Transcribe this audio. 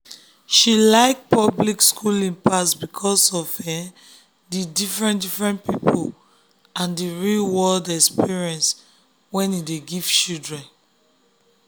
she like public schooling pass because of um the different-different people and real-world um experience e um dey give children.